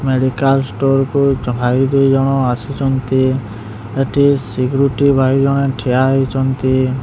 Medical store କୁ ଭାଇ ଦୁଇଜଣ ଆସୁଚନ୍ତି ଏଠି ସିକୁରୁଟି ଭାଈ ଜଣେ ଠିଆ ହୋଇଚନ୍ତି।